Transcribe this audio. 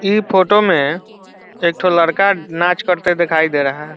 ई photo में एक ठो लड़का नाच करते दिखाई दे रहा है।